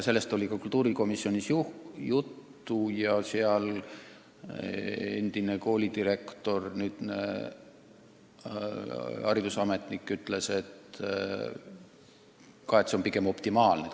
Sellest oli ka kultuurikomisjonis juttu ja seal üks endine koolidirektor, nüüdne haridusametnik, ütles samuti, et hindamiskomisjon on optimaalne lahendus.